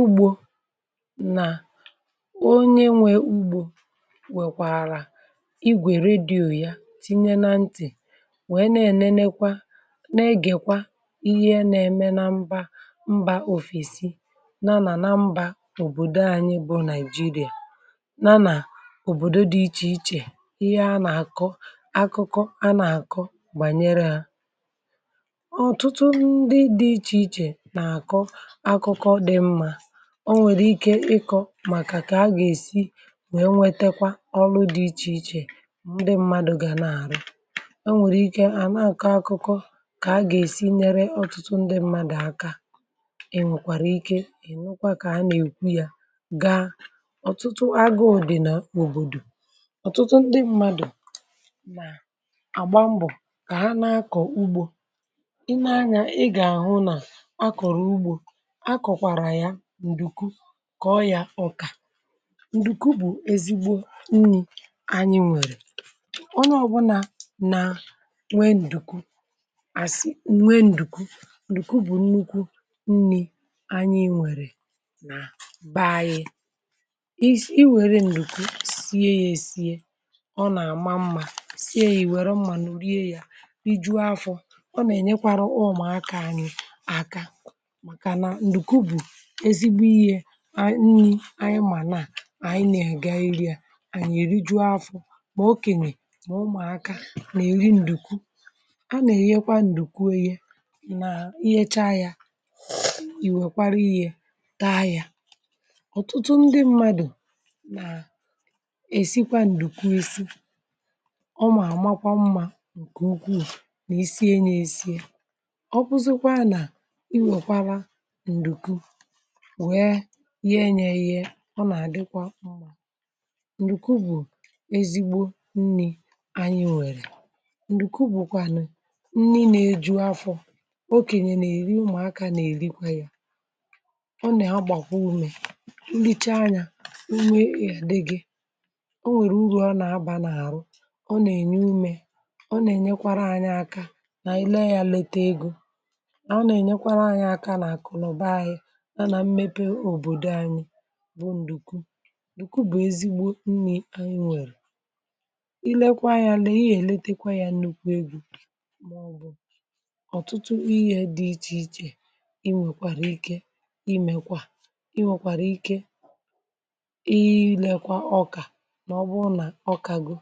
Ụgbọ Nà onye nwe ugbȯ nwèkwàrà igwè redio ya tinye na ntị̀ nwèe na-ènenekwa na-egèkwa ihe nȧ-ème na mbȧ mbȧ òfèsi, nanà na mbȧ òbòdò anyi bụ̇ nàị̀jịrị̀à, nanà òbòdo dị ichè ichè ihe a nà-àkọ akụkọ a nà-àkọ gbànyere ha. Ọtutu ndi di ịche ịche na akọ akụkọ di mmà, ọ nwèrè ike ikọ̇ màkà kà a gà-èsi nwèe nwetekwa ọlụ dị̇ ichè ichè ndị mmadụ̇ gà na-àrụ, ọ nwèrè ike ànà akọ̀ akụkọ kà a gà-èsi nyere ọ̀tụtụ ndị mmadụ̀ aka, e nwèkwàrà ike ẹ̀nụkwa kà a nà-èkwu ya gaa ọ̀tụtụ agụ̇ ọ̀dịnà n’òbòdò, ọ̀tụtụ ndị mmadụ̀ àgba mbọ̀ kà ha nà-akọ̀ ugbȯ. i nee anyȧ ị gà-àhụ nà ǹdùkwu kà ọ yȧ ọkà. ǹdùkwu bụ̀ èzigbo nni̇ anyị nwèrè, onye ọbụla nà nwe ǹdùkwu àsị nwe ǹdùkwu. ǹdùkwu bụ̀ nnukwu nni̇ anyị nwèrè nà banyị. i i wère ǹdùkwu sie yȧ èsie ọ nà àma mmȧ, sie yȧ ì wère mmȧ n urie yȧ iju̇ afọ̇. ọ nà ènyekwara ụmụ̀akȧ nì aka, màkà na ǹdùkwu bụ̀ ezigbo ihe anyị-anyị mà naà anyị nà ẹ̀gà iri yȧ anyị èrijuọ afọ̇, mà okènyè nà ụmụ̀aka nà-èri ǹdùkwu. A nà-ènyekwa ǹdùkwu onye na ihecha yȧ, ìwèkwara ihe taa yȧ. ọ̀tụtụ ndị mmadù nà èsikwa ǹdùkwu isi, ọmà àmakwa mmȧ ǹkè ukwuù nà isiye nà esi ye, ọbụzụkwa nà iwèkwara ǹdùkwu nwèe yeẹnyẹ yee ọ nà àdịkwa mmȧ. Ṅdùkwu bụ̀ ezigbo nni̇ anyị nwèrè, ǹdùkwu bụ̀kwànụ̀ nni nà eju̇ afọ̇, okènyè nà èri umùakȧ nà èrikwa yȧ. ọ nà àgbàkwa umė, nlicha anyȧ ume èdighị, o nwèrè uru̇ ọ nà agba n’àrụ, ọ nà ènye umė, ọ nà ènyekwara anyị aka nà ị̀lẹ ya leta egȯ. a ọ nà ènyekwara anyị aka nà àkụnụba ahịȧ bụ̀. ǹdùku bụ̀ ezigbo nni̇ anyi nwèrè, i lekwa ya lee i èletekwa ya nukwu egwu̇, màọbụ̀ ọ̀tụtụ ihė dị ichè ichè i nwèkwàrà ike imekwa, i nwèkwàrà ike iyi um ilėkwa ọkà nà ọ bụ nà ọkago,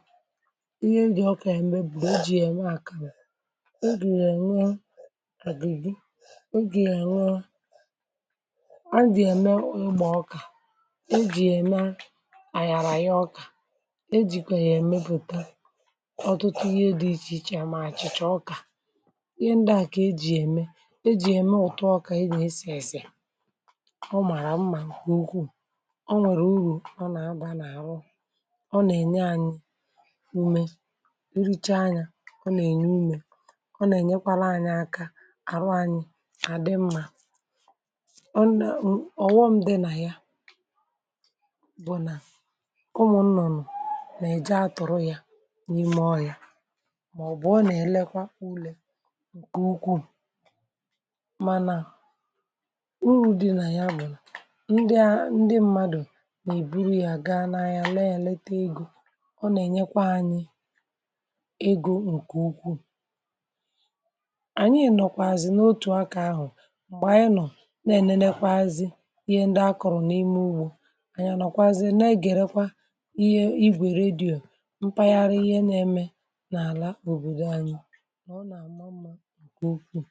ihe ndị ọkà ya mbe bụ̀ doji ya ṁ àkàmụ̀, ngị̀ ya eme àdị gị, e jì yà ème eji ya eme ịgba-ọkà, e ji ya eme ayaraya ọka, e jìkwè yà èmepùte ọtụtụ ihe dị̇ ichè ichè à, mà àchị̀chà ọkà, ihe ndịà kà ejì yà ème. e jì yà ème ụ̀tụ ọkà ịgà esì èsì ọ màrà mmà nkè ukwu̇, ọ nwèrè urù ọ nà agbȧ n’àrụ ọ nà ène anyị̇ umė urùcha anyị̇ à ọ nà ènyè umė, ọ nà ènyekwara anyị̇ aka àrụ anyị̇ àdị mmà. ọ̀ghọṁ dị nà ya bụ̀ nà ụmụ̀ nnọ̀rọ̀ nà-èje atụrụ ya n’ime ọ ya, màọbụ̀ ọ nà-èlekwa ulė ǹkè ukwuù. mànà urù dị nà ya bụ̀ ndịa ndị mmadụ̀ nà-èburu ya gaa n’anya lèe lète egȯ, ọ nà-ènyekwa anyị egȯ ǹkè ukwuù. ànyị ènọkwazị n’otù akȧ ahụ̀ m̀gbè anyị nọọ̀ na-ènekwa azị, anyị anọkwazị na-egerekwa ihe ibu̇ ère redio mpaghara ihe na-eme n’ala obodo anyị, na ọ na-ama mma gị ukwuù.